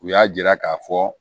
U y'a jira k'a fɔ